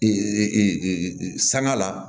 Ee sanga la